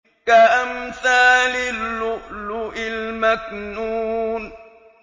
كَأَمْثَالِ اللُّؤْلُؤِ الْمَكْنُونِ